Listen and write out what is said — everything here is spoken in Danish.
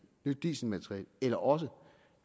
nyt dieselmateriel eller også